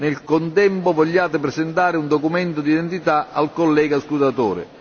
Nel contempo, vogliate presentare un documento di identità al collega scrutatore.